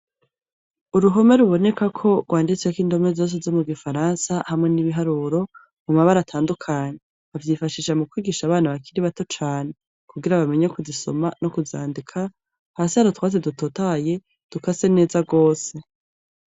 Uruhome ruboneka ko rwanditseko indome zose zo mu gifaransa hamwe n'ibiharuro mu mabara atandukanye bavyifashisha mu kwigisha abana bakiri bato cane kugira abamenye kuzisoma no kuzandika hasi hari utwatsi dutotahaye dukase neza rwose.